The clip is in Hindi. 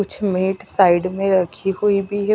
कुछ मेट साइड में रखी हुई भी है।